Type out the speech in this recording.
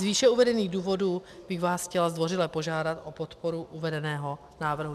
Z výše uvedených důvodů bych vás chtěla zdvořile požádat o podporu uvedeného návrhu.